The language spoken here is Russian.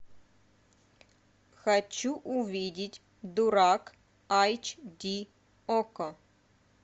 хочу увидеть дурак айч ди окко